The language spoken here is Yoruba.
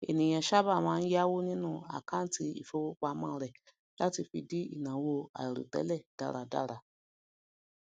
ènìyàn ma n saba yawó nínú akanti ìfowópamọ rẹ lati fi di ìnáwó àiròtẹlẹ dáradára